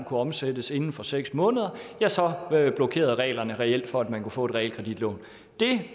kunne omsættes inden for seks måneder blokerede reglerne reelt for at man kunne få et realkreditlån det